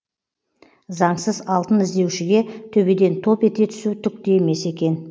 заңсыз алтын іздеушіге төбеден топ ете түсу түк те емес екен